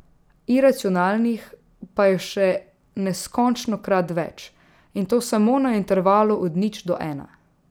Iracionalnih pa je še neskončnokrat več, in to samo na intervalu od nič do ena.